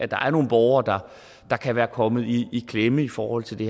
der er nogle borgere der kan være kommet i klemme i forhold til det